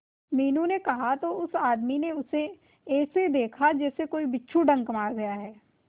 मीनू ने कहा तो उस आदमी ने उसे ऐसा देखा जैसे कि कोई बिच्छू डंक मार गया है